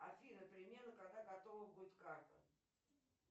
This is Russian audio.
афина примерно когда готова будет карта